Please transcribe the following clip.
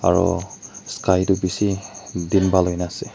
aro sky toh bishi din bhal hoi gina ase.